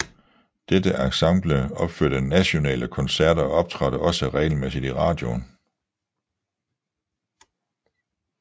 Dette ensemble opførte nationale koncerter og optrådte også regelmæssigt i radioen